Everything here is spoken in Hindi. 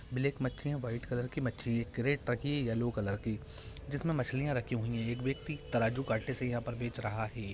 ब्लैक मच्छी है वाइट कलर की मच्छी है कैरट रखी है येलो कलर की जिसमे मछलियां रखी हुई हैं| एक व्यक्ति तराजू-कांटे से यहाँ पर बेच रहा है।